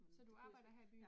Så du arbejder her i byen?